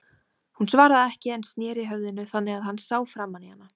Hún svaraði ekki en sneri höfðinu þannig að hann sá framan í hana.